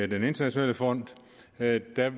den internationale fond vil jeg